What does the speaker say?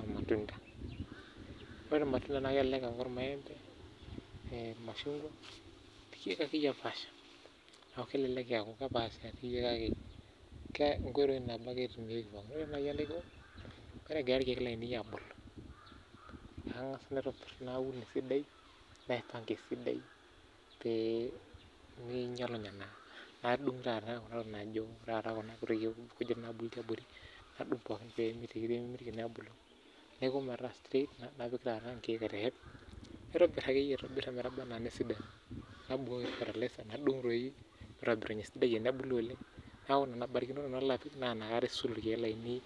olmtunda. Ore ilmatunda nelelek aa ilmaembe ,ilmashungwa naa engoitoi nabo ake etumieki pookin naa ore naai enaiko naa ore egira ilkiek lainei aabulu angas alone auonesidai naipanga esidai peeminyalunye naa nadung taata kuna kunit naabulu tiaboripooki napik ingiek aiteshep naitobir akeyie peesidanu nabukoki fertilizers peebulu oleng